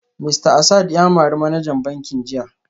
Mista Asad ya mari manajan bankin jiya